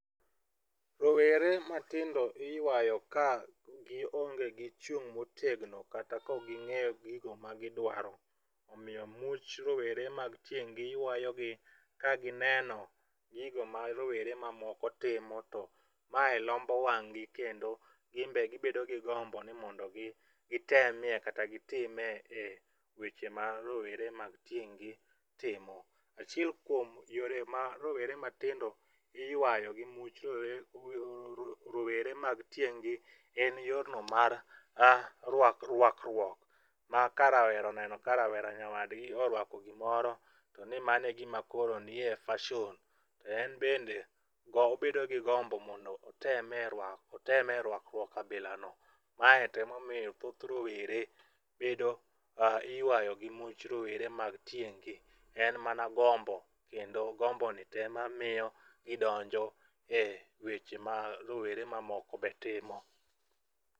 Rowere matindo iyuayo ka gionge gi chung' motegno kata kaok ging'eyo gigo ma giduaro. Omiyo much rowere mag tieng' gi yuayogi kagineno gigo ma rowere mamoko timo to mae lombo wang' gi kendo gin be gibedo gi gombo ni mondo gitemie kata gitimie weche ma rowere ma tieng' gi timo. Achiel kuom yore ma rowere matindo iyuayo gi much rowere mag tieng' gi en yorno mar ruakruok ma ka rawera oneno ka rawera nyawadgi oruako gimoro to ni mano e gima nie fason to en bende obedo gi gombo mondo otemie ruako otemie ruakruok kabilano. Mano emomiyo thoth rowere bedo iyuayo gi much rowere mag tieng' gi, en mana gombo kendo gomboni to ema miyo gidonjo eweche mag rowere ma moko be timo.